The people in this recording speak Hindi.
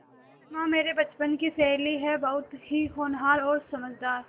सिमा मेरे बचपन की सहेली है बहुत ही होनहार और समझदार